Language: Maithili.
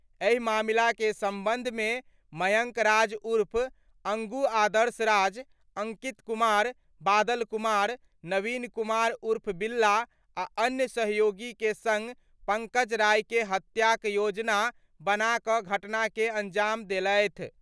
एहि मामला के संबंध मे मयंक राज उर्फ अंगू आदर्श राज, अंकित कुमार, बादल कुमार, नवीन कुमार उर्फ बिल्ला आ अन्य सहयोगी के संग पंकज राय के हत्याक योजना बना क' घटना के अंजाम देलथि।